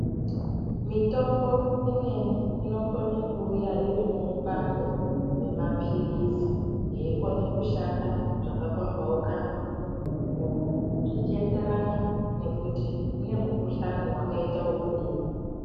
Mitombo imweni inokona kuuya iri mubando remapirizi yeikona kushanda zvakapambaukana zvichienderana nekuti kune mukuhlani wakaita wekudini.